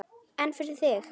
En fyrir þig?